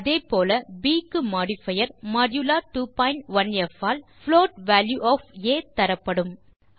அதே போல ப் க்கு மோடிஃபயர் மோடுலா 21ப் all float value of a தரப்படும்